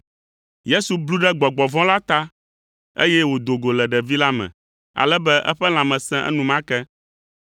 Yesu blu ɖe gbɔgbɔ vɔ̃ la ta, eye wòdo go le ɖevi la me ale be eƒe lãme sẽ enumake.